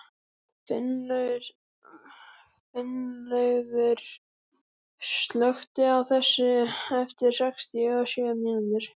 Finnlaugur, slökktu á þessu eftir sextíu og sjö mínútur.